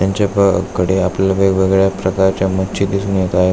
यांच्याकडे आपल्याला वेगवेगळ्या प्रकारच्या मच्छी दिसून येत आहे.